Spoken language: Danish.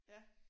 Ja